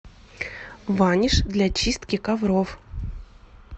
ваниш для чистки ковров